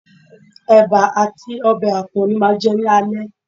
Ẹ̀bà àti ọbẹ̀ àpọ̀n ni màá jẹ́ ní alẹ́